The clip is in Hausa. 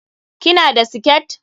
Ki na da siket?